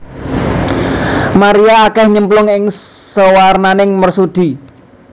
Maria akèh nyemplung ing sawernaning mersudi